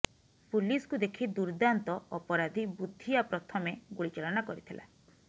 ପୁଲିସକୁ ଦେଖି ଦୁର୍ଦ୍ଦାନ୍ତ ଅପରାଧୀ ବୁଦ୍ଧିଆ ପ୍ରଥମେ ଗୁଳି ଚାଳନା କରିଥିଲା